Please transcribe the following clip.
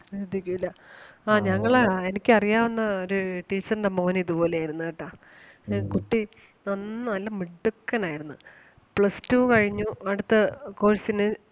ശ്രദ്ധിക്കൂല്ല ആഹ് ഞങ്ങള് എനിക്ക് അറിയാവുന്ന ഒരു teacher ന്റെ മോന് ഇതുപോലെ ആരുന്നു കേട്ടാ കുട്ടി നന്നാ നല്ല മിടുക്കൻ ആരുന്നു plus two കഴിഞ്ഞു അടുത്ത course ന്